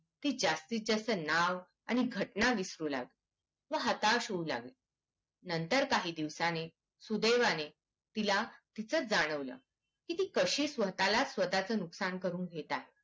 ती जास्तीत जास्त नाव आणि घटना विसरू लागली व हताश होऊ लागली नंतर काही दिवसणी सुदैवाने तिला तीचच जाणवलं की ती स्वताला स्वता च नुकसान करून घेत आहे